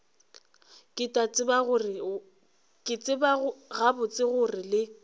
ke tseba gabotse gore le